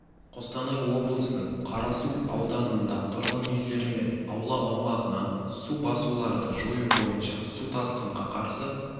қостанай облысының қарасу ауданында тұрғын үйлері мен аула аумағынан су басуларды жою бойынша су тасқынға қарсы